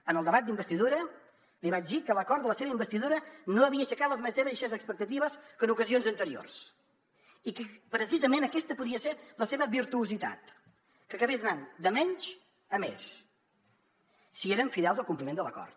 en el debat d’investidura li vaig dir que l’acord de la seva investidura no havia aixecat les mateixes expectatives que en ocasions anteriors i que precisament aquesta podia ser la seva virtuositat que acabés anant de menys a més si eren fidels al compliment de l’acord